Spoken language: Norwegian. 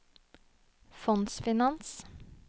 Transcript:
fondsfinans